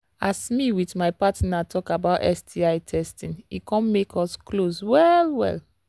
as me with my partner talk about sti testing e come make us close well well